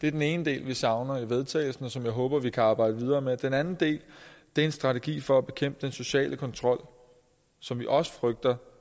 det er den ene del vi savner i vedtagelse og som jeg håber vi kan arbejde videre med den anden del er en strategi for at bekæmpe den sociale kontrol som vi også frygter